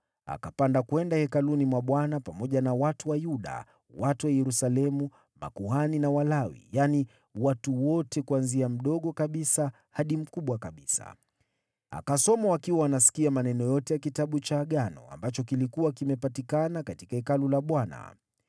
Akapanda kwenda hekaluni mwa Bwana pamoja na watu wa Yuda, watu wa Yerusalemu, makuhani na Walawi, watu wote, wakubwa kwa wadogo. Akasoma wakiwa wanasikia maneno yote ya Kitabu cha Agano, ambacho kilikuwa kimepatikana katika Hekalu la Bwana .